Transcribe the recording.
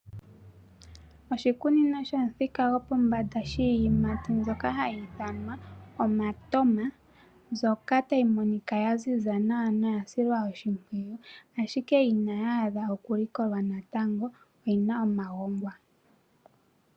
Oshikunino shomuthika gwopombanda shiikwamboga mbyoka hayi ithanwa omatoma, mbyoka tayi monika ya ziza nawa noya silwa oshimpwiyu, ashike inayaadha okulikolwa natango, oyi na omagongwa.